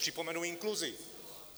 Připomenu inkluzi.